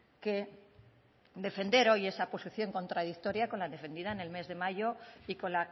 que defender hoy esa posición contradictoria con la defendida en el mes de mayo y con